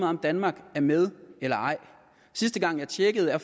om danmark er med eller ej sidste gang jeg tjekkede var